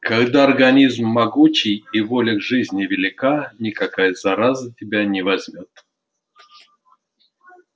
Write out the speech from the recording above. когда организм могучий и воля к жизни велика никакая зараза тебя не возьмёт